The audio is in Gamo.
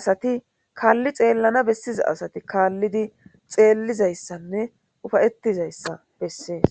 asati kaalli xeellana bessiza asati kaallidi xeellizayssanne ufayetizayssa bessees.